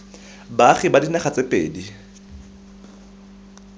baagi ba dinaga tse pedi